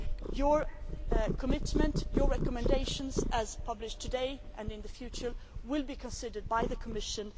Your commitment and your recommendations, as published today and in the future, will be considered by the Commission.